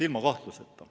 Ilma kahtluseta.